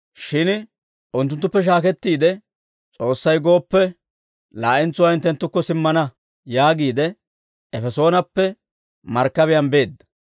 Shin unttunttuppe shaakettiide, «S'oossay gooppe, laa'entsuwaa hinttenttukko simmana» yaagiide Efesoonappe markkabiyaan beedda.